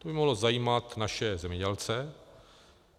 To by mohlo zajímat naše zemědělce.